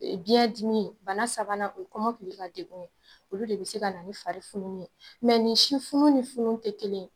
Biiɲɛ dimi, bana sabanan o ye kɔmɔkili ka degun ye, olu de bi se ka na ni fari fununni ye ni si funun ni funun te kelen ye.